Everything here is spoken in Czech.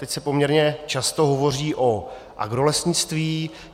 Teď se poměrně často hovoří o agrolesnictví.